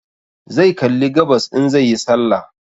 Zai kalli gabas in zai yi sallah